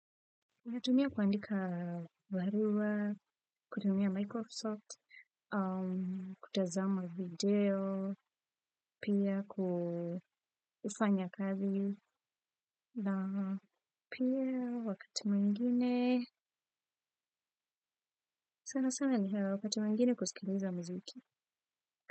Natumia kuandika baruwa, kutumia Microsoft, kutazama video, pia kufanya kazi, na pia wakati mwingine, sana sana ni hayo wakati mwingine kusikiliza muziki.